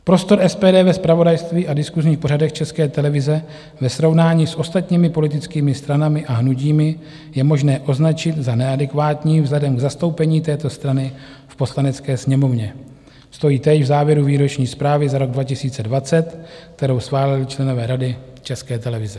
Prostor SPD ve zpravodajství a diskusních pořadech České televize ve srovnání s ostatními politickými stranami a hnutími je možné označit za neadekvátní vzhledem k zastoupení této strany v Poslanecké sněmovně, stojí též v závěru výroční zprávy za rok 2020, kterou schválili členové Rady České televize.